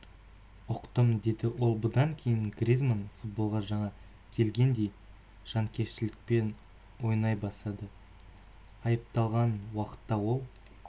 ұқтым деді ол бұдан кейін гризманн футболға жаңа келгендей жанкештілікпен ойнай бастады айыпталған уақытта ол